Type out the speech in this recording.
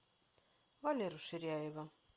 валеру ширяева